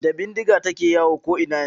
Da bindiga take yawo ko'ina yanzu.